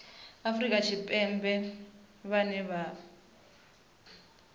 afrika tshipembe vhane vha vha